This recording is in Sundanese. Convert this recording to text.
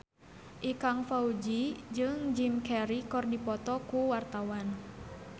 Ikang Fawzi jeung Jim Carey keur dipoto ku wartawan